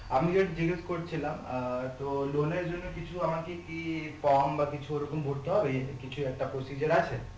আমি যে জিজ্ঞাস করছিলাম আর তো loan এর জন্যে কিছু আমাকে কি form বা কিছু ওরকম ভরতে হবে কিছু একটা procedure আছে